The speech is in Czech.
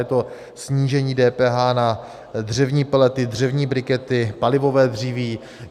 Je to snížení DPH na dřevní pelety, dřevní brikety, palivové dříví.